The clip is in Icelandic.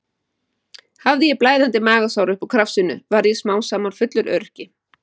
Hafði ég blæðandi magasár upp úr krafsinu og varð smám saman fullur öryrki.